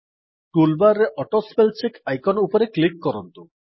toolbar ରେ auto spell check icon ଉପରେ click କରନ୍ତୁ